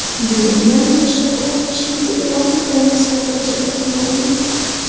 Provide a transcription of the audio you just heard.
Bugundan boshlab ochlik e’lon qilamiz va ko‘chada tunaymiz.